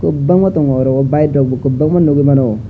kobangma tongo oro bike rok bo kobangma nogui mano.